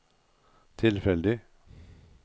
tilfeldig